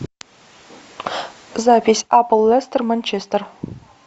запись апл лестер манчестер